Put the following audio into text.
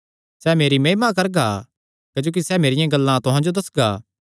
सैह़ मेरी महिमा करगा क्जोकि सैह़ मेरियां गल्लां ते तुहां जो दस्सगा